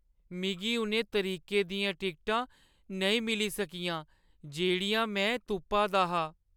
मिगी उ'नें तरीकें दियां टिकटां नेईं मिली सकियां जेह्‌ड़ियां में तुप्पा दा हा।